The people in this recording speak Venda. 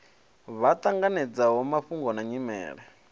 vha ṱanganedzaho mafhungo na nyimele